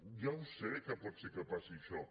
ja ho sé que pot ser que passi això